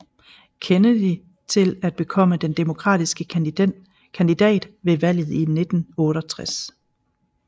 Kennedy til at bekomme den demokratiske kandidat ved valget i 1968